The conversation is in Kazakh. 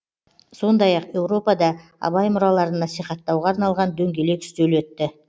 сондай ақ еуропада абай мұраларын насихаттауға арналған дөңгелек үстел өтті